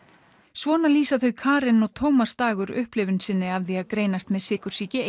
svona lýsa þau Karen og Tómas upplifun sinni af því að greinast með sykursýki